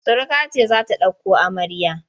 Suruka ce za ta ɗauko amarya.